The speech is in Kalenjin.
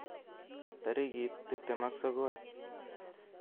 tarigit tiptem ak sogol